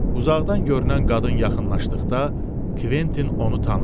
Uzaqdan görünən qadın yaxınlaşdıqda, Kventin onu tanıdı.